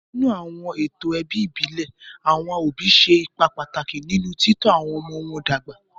Nínú àwọn ètò ẹbí ìbílẹ̀, àwọn òbí ṣe ipa pàtàkì nínú títọ́ àwọn ọmọ wọn dàgbà.